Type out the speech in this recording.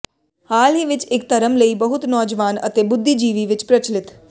ਹਾਲ ਹੀ ਵਿਚ ਇਕ ਧਰਮ ਲਈ ਬਹੁਤ ਨੌਜਵਾਨ ਅਤੇ ਬੁੱਧੀਜੀਵੀ ਵਿੱਚ ਪ੍ਰਚਲਿਤ